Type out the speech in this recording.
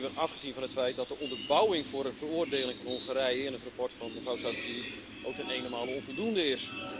Nog even afgezien van het feit dat de onderbouwing voor een veroordeling van Hongarije in het verslag van mevrouw Sargentini ook ten enenmale onvoldoende is.